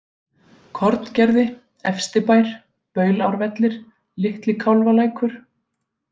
Korngerði, Efstibær, Baulárvellir, Litli-Kálfalækur